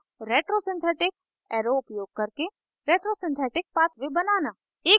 retrosynthetic arrow उपयोग करके retrosynthetic pathway बनाना